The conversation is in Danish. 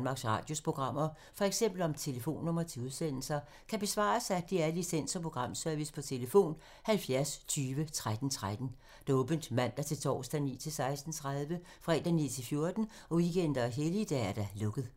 Spørgsmål om Danmarks Radios programmer, f.eks. om telefonnumre til udsendelser, kan besvares af DR Licens- og Programservice: tlf. 70 20 13 13, åbent mandag-torsdag 9.00-16.30, fredag 9.00-14.00, weekender og helligdage: lukket.